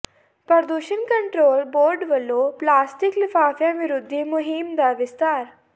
ਪ੍ਰਦੂਸ਼ਣ control board ਵੱਲੋਂ plastic ਲਿਫ਼ਾਫ਼ਿਆਂ ਵਿਰੋਧੀ ਮੁਹਿੰਮ ਦਾ ਵਿਸਥਾਰ